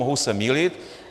Mohu se mýlit.